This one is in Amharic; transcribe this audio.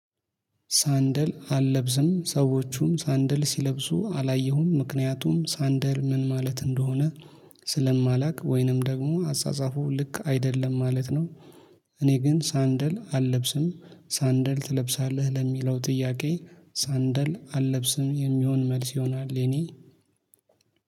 ሳንደል አልለብስም ሰዎቹም ሳንደል ሲለብሱ አላየሁም ምክንያቱም ሳንደል ምን ማለት እንደሆነ ስለማላውቅ ወይንም ደግሞ አጻጻፉ ልክ አይደለም ማለት ነው። እኔ ግን ሳንደል አልለብስም ሳንደል ትለብሳለህ ለሚለው ጥያቄ ሳንደል አልለብስም የሚሆን መልስ ይሆናል። የኔ